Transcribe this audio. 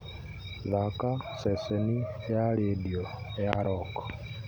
thaaka ceceni ya rĩndiũ ya rock